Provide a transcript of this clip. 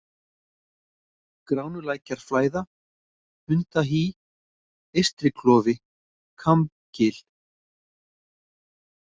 Gránulækjarflæða, Hundahý, Eystriklofi, Kambgil